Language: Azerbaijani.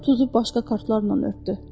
Sonra tuzu başqa kartlarla örtdü.